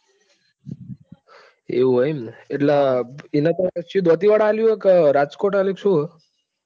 એવું હે એમ ને એટલે એને તો શું દાંતીવાડા આપ્યું છે કે રાજકોટ આપ્યું કે શું હ.